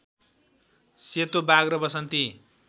सेतोबाघ र वसन्ती